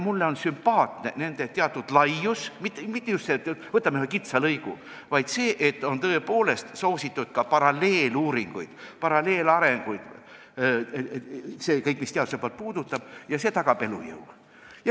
Mulle on sümpaatne nende tegevuse teatud laius, ei ole nii, et võtame ühe kitsa lõigu, vaid tõepoolest on soositud ka paralleeluuringuid, paralleelarenguid – see on kõik see, mis teaduse poolt puudutab, ja see tagab elujõu.